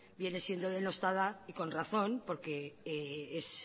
viene siendo denostada y con razón porque es